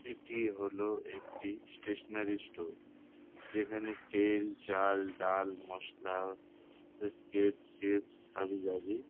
এটি হল একটি স্টেশনারি স্টোর | যেখানে তেল চাল ডাল মসলা বিস্কিটস চিপস হাবিজাবি --